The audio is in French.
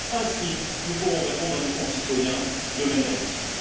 Ainsi, nous pourrons répondre à nos concitoyens de manière utile.